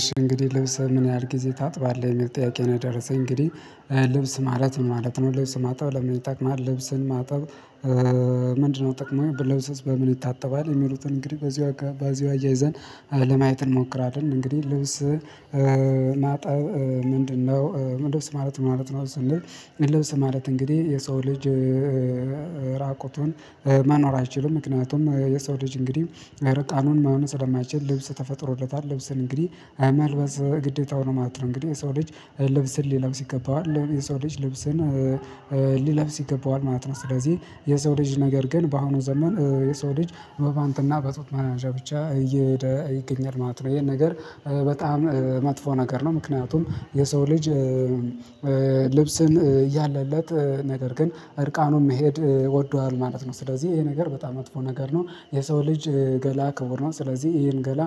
እሺ እንግዲህ ልብስ ምን ያህል ጊዜ ታጥባለህ የሚል ጥያቄ ነው የደረሰኝ እንግዲህ ልብስ ማለት ምን ማለት ነው ልብስ ማጠብ ለምን ይጠቅማል ልብስን ማጠብ? ምንድነው ጥቅሙ ልብስስ በምን ይታጠባል? የሚሉትን እንግዲህ በዚህ በዚህ አያይዘን ለማየት እንሞክራለን። እንግዲህ ልብስ ማጠብ ምንድነው? ልብስ ማለት ማለት ነው ስንል። ልብስ ማለት እንግዲህ የሰው ልጅ ራቁቱን መኖር አይችልም ምክንያቱም የሰው ልጅ እንግዲህ እረቃኑን መሆን ስለማይችል ልብስ ተፈጥሮለታል ልብስን እንግዲህ መልበስ ግዴታው ነው ማለት ነወው። እንግዲህ የሰው ልብስን ልብስን ይገባዋል የሰው ልብስን ሊለብስ ይገባዋል ማለት ነው። ስለዚህ የሰው ልጅ ነገር ግን በአሁኑ ዘመን የሰው ልጅ በፓንትና በጡት ማስያዣ ብቻ እየሄደ ይገኛል ማለት ነው። ይሄን ነገር በጣም መጥፎ ነገር ነው። ምክንያቱም የሰው ልጅ ልብስን እያለለት ነገር ግን እርቃኑን መሄድ ወዷል ማለት ነው። ስለዚህ ይሄ ነገር በጣም መጥፎ ነገር ነው። የሰው ልጅ ገላ ክቡር ነው። ስለዚህ ይሄን ገላ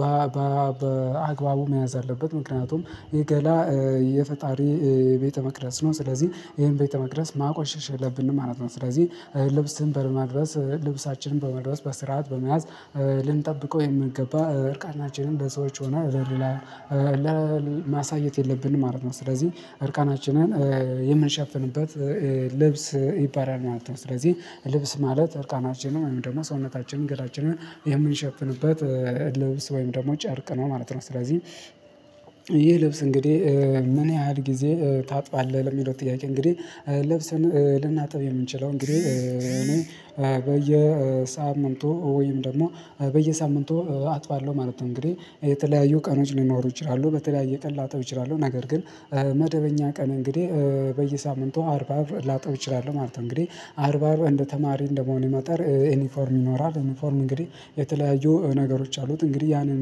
በአግባቡ መያዝ አለበት። ምክንያቱም የገላ የፈጣሪ ቤተመቅደስ መቅደስ ነው። ስለዚህ ይሄን ቤተ መቅደስ ማቆሸሽ የለብንም ማለት ነው። ስለዚህ ልብስን በመልበስ ልብሳችንን በመልበስ በስርዓት በመያዝ ልንጠብቀው የሚገገባ እርቃናችንን በሰዎች ሆነ በሌላ ማሳየት የለብንም ማለት ነው። ስለዚህ እርቃናችንን የምንሸፍንበት ልብስ ይባላል ማለት ነው። ስለዚህ ልብስ ማለት እርቃናችንን ወይም ደግሞ ሰውነታችንን ገላችንን የምንሸፍንበት ልብስ ወይም ደግሞ ጨርቅ ነው ማለት ነው። ስለዚህ ይህ ልብስ እንግዲህ ምን ያህል ጊዜ ታጥባለህ? ለሚለው ጥያቄ እንግዲህ ልብስን ልናጠብ የምንችለው እንግዲህ እኔ በየሳምንቱ ወይም ደግሞ በየሳምንቱ አጥባለሁ ማለት ነው። እንግዲህ የተለያዩ ቀኖች ሊኖሩ ይችላሉ በተለያየ ቀን ላጥብ እችላለሁ። ነገር ግን መደበኛ ቀን እንግዲህ በየሳምንቱ አርብ አርብ ላጥብ እችላለሁ ማለት ነው። እንግዲህ አርብ አርብ እንደ ተማሪ እንደመሆኔ መጠን ዩኒፎርም ይኖራል። ዩኒፎርም እንግዲህ የተለያዩ ነገሮች አሉት እንግዲህ ያንን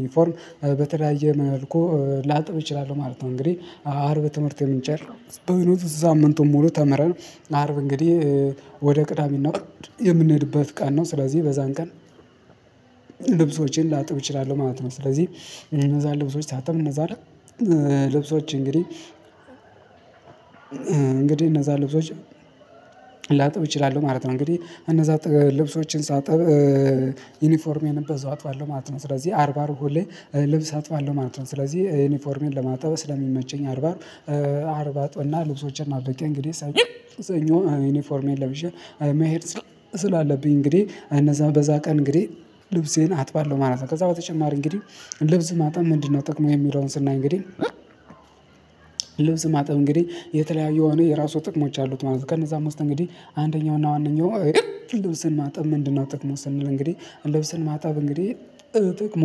ዩኒፎርም በተለያየ መልኩ ላጥብ እችላለሁ ማለት ነው። እንግዲህ አርብ ትምህርት የምንጨርስበት ነው። ሳምንቱን ሙሉ ተምረን አርብ እንግዲህ ወደ ቅዳሜ እና እሁድ የምንሄድበት ቃል ነው። ስለዚህ በዛን ቀን ልብሶችን ላጥብ እችላለሁ ማለት ነው። ስለዚህ እነዛን ልብሶች ሳጥብ እነዛን ልብሶች እንግዲህ እንግዲህ እነዛ ልብሶች ላጥብ እችላለሁ ማለት ነው። እንግዲህ እነዛ ልብሶችን ሳጥብ ዩኒፎርሜንም በዛው አጥባለሁ ማለት ነው። ስለዚህ አርብ አርብ ሁሌ ልብስ አጥባለሁ ማለት ነው። ስለዚህ ዩኒፎርሜን ለማጠብ ስለሚመ ቸኝ አርብ አርብ አርብ አጥብእና ልብሶችን አበቄ እንግዲህ ሰኞ ዩኒፎርሜን ለብሼ መሄድ ስላለብኝ እንግዲህ እነዛ በዛ ቀን እንግዲህ ልብሴን አጥባለሁ ማለት ነው። ከዛ በተጨማሪ እንግዲህ ልብስ ማጠብ ምንድነው? ጥቅሙ የሚለውን ስናይ እንግዲህ ልብስ ማጥብ እንግዲህ የተለያዩ እኔ የራሱ ጥቅሞች አሉት ማለት ነው። ከነዛ ውስጥ እንግዲህ አንደኛው ልብስን ማጠብ ምንድነው ጥቅሙ ስንል? እንግዲህ ልብስን ማጠብ እንግዲህ ጥቅሙ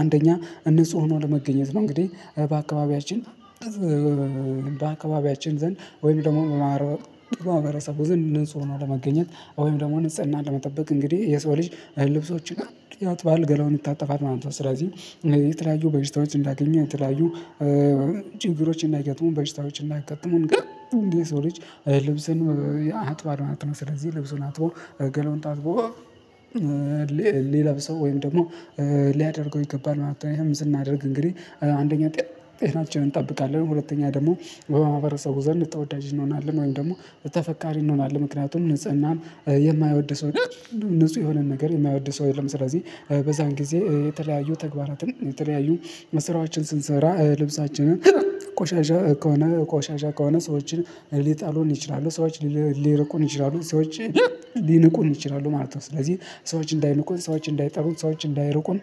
አንደኛ ንጹህ ሆኖ ለመገኘት ነው። እንግዲህ በአካባቢያችን በአካባቢያችን ዘንድ ወይም ደግሞ በማህረሰቡ ዘንድ ንጹህ ነው ለመገኘት ወይም ደግሞ ንጽህና ለመጠበቅ እንግዲህ የሰው ልጅ ልብሶችን ያጥባል ገላውን ይታጠባል ማለት ነው። ስለዚህ የተለያዩ በሽታዎች እንዳያገኙን የተለያዩ ችግሮችን እናይገጥሙን በሽታዎችን እንዳያጋጥሙን እንግዲህ የሰው ልጅ ልብስን ያጥባል ማለት ነው። ስለዚህ ልብሱን አጥቦ ገላውን ታጥቦ ሊለብሰው ወይም ደግሞ ሊያደርገው ይገባል ማለት ነው። ይሄም ስናደርግ እንግዲህ አንደኛ ጤናችንን እንጠብቃለን። ሁለተኛ ደግሞ በማህበረሰቡ ዘንድ ተወዳጅን እንሆናለን ወይም ደግሞ ተፈቃሪ እንሆናለን። ምክንያቱም ንጽህናም የማይወድ ሰው ንጹህ የሆነን ነገር የማይወድ ሰው የለም። ስለዚህ በዛን ጊዜ የተለያዩ ተግባራትን የተለያዩ መስራችን ስንሰራ ልብሳችንን ቆሻሻ ከሆነ ቆሻሻ ከሆነ ሰዎችን ሊጠሉን ይችላሉ ሰዎች ሊርቁን ይችላሉ ሰዎች ሊንቁን ይችላሉ ማለት ነው። ስለዚህ ሰዎች እንዳይንቁን ሰዎች እንዳይጠሉን ሰዎች እንዳይሩቁን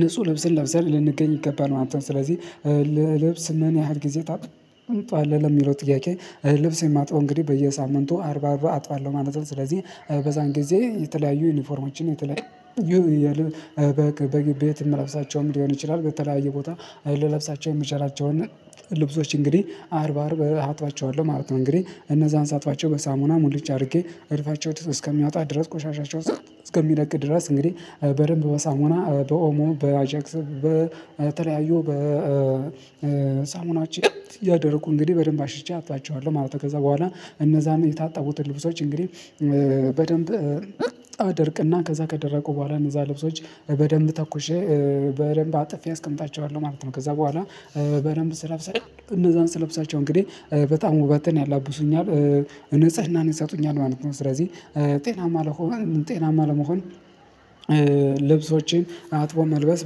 ንጹህ ልብስን ለብሰን ልንገኝ ይገባል ማለት ነው። ስለዚህ ልብስ ምን ያህል ጊዜ ታጥባለህ ለሚለው ጥያቄ? ልብስ የማጥበው እንግዲህ በየሳምንቱ አርብ አርብ አጥባለሁ ማለት ነው። ስለዚህ በዛን ጊዜ የተለያዩ ዩኒፎርሞችን የተለያዩ የልብ ቤት የምለብሳቸውም ሊሆን ይችላል። ከተለያየ ቦታ ልለብሳቸው የምችላቸውን ልብሶች እንግዲህ አርብ አርብ አጥባቸዋለሁ ማለት ነው። እንግዲህ እነዛን ሳጥባቸው በሳሙና ሙልጭ አድርጌ እድፋቸው እስከሚያወጣ ድረስ ቆሻሻቸውን እስከሚለቅ ድረስ እንግዲህ በደንብ በሳሞና በኦሞ በአጃክስ በተለያዩ በሳሙናችን እያደረኩ እንግዲህ በደንብ አሽቼ አጥባቸዋለሁ ማለት ነው። ከዛ በኋላ እነዛን የታጠቡትን ልብሶች እንግዲህ በደንብ አደርቅና ከዛ ከደረቁ በኋላ እነዛ ልብሶች በደንብ ተኩሼ በደንብ አጥፌ አስቀምጣቸዋለሁ ማለት ነው። ከዛ በኋላ በደንብ ስለብሳቸው እነዛን ስለብሳቸው እንግዲህ በጣም ውበትን ያላብሱኛል ንጽህናን ይሰጡኛል። ማለት ስለዚህ ጤናማ ለመሆን ጤናማ ለመሆን ልብሶችን አጥቦ መልበስ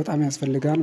በጣም ያስፈልጋል